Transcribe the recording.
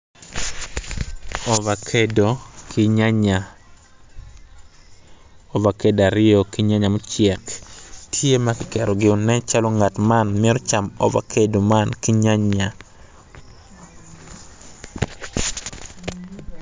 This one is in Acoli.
Ovakado obuto piny kun puc man kala kome tye macol nicuc kun opero ite tye ka winyo jami. Puc man bene.